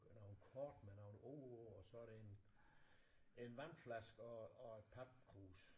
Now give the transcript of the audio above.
Nogle kort med nogle ord og så det en en vandflaske og og et papkrus